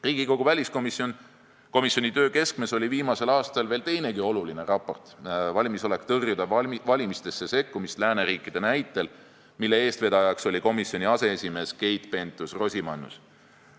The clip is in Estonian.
Riigikogu väliskomisjoni töö keskmes oli viimasel aastal veel teinegi oluline raport, "Valmisolek tõrjuda valimistesse sekkumist lääneriikide näitel", mille eestvedaja oli komisjoni aseesimees Keit Pentus-Rosimannus.